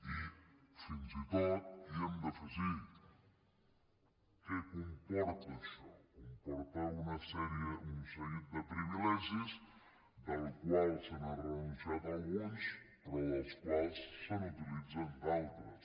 i fins i tot hi hem d’afegir què comporta això comporta un seguit de privilegis dels quals s’ha renunciat a alguns però dels quals s’utilitzen d’altres